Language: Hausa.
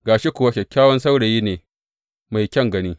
Ga shi kuwa kyakkyawan saurayi ne mai kyan gani.